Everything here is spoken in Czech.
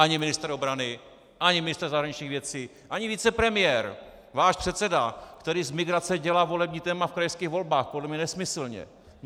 Ani ministr obrany, ani ministr zahraničních věcí, ani vicepremiér, váš předseda, který z migrace dělá volební téma v krajských volbách, podle mě nesmyslně.